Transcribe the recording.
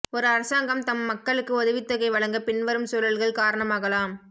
ஒரு அரசாங்கம் தம் மக்களுக்கு உதவித்தொகை வழங்க பின்வரும் சூழல்கள் காரணமாகலாம்